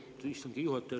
Lugupeetud istungi juhataja!